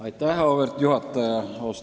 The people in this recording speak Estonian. Auväärt juhataja!